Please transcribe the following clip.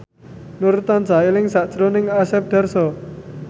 Nur tansah eling sakjroning Asep Darso